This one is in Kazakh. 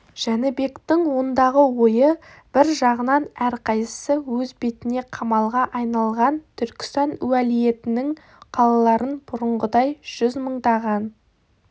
жәнібектің ондағы ойы бір жағынан әрқайсы өз бетіне қамалға айналған түркістан уәлиетінің қалаларын бұрынғыдай жүз мыңдаған